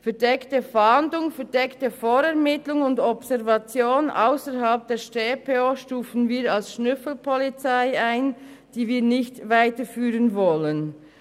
Verdeckte Fahndung, verdeckte Vorermittlung und Observation ausserhalb der Schweizerischen Strafprozessordnung (StPO) stufen wir als Schnüffelpolizei ein, die wir nicht weiterführen wollen.